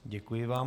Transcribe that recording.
Děkuji vám.